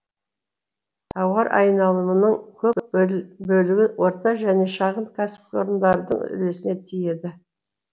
тауар айналымының көп бөлігі орта және шағын кәсіпорындардың үлесіне тиеді